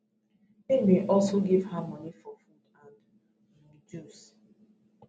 im bin also give her money for food and um juice